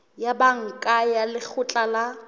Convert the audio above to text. ya banka ya lekgotla la